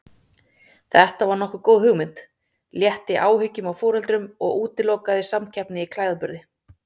Þetta var nokkuð góð hugmynd, létti áhyggjum af foreldrum og útilokaði samkeppni í klæðaburði.